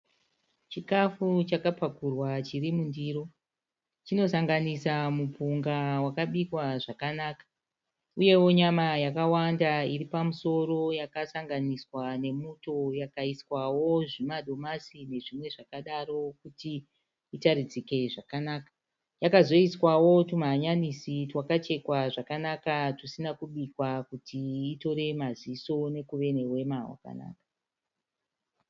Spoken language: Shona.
Chikafu chakapakurwa chiri mundiro. Chinosanganisa mupunga wakabikwa zvakanaka uyewo nyama yakawanda iri pamusoro yakasanganiswa nemuto yakaiswawo zvimadomasi nezvimwe zvakadaro kuti itaridzike zvakanaka. Yakazoiswawo twumahanyanisi twakachekwa zvakanaka twusina kubikwa kuti itore maziso nekuve nehwema hwakanaka.